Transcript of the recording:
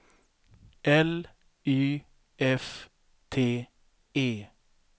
L Y F T E